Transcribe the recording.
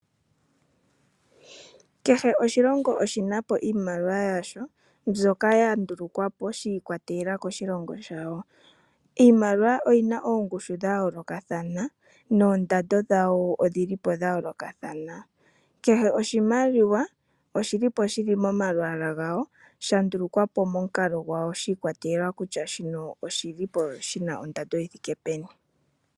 Kehe oshilongo oshina po iimaliwa yasho mbyoka ya ndulukwapo shiikwatelela koshilongo shayo. Iimaliwa oyina oongushu dha yoolokathana noondando dhayo odhi lipo dha yoolokathana, kehe oshimaliwa oshili po shili momalwaala gayo shandulukwapo momukalo gwayo shiikwatelela kutya shino oshili po shina ondando yithike peni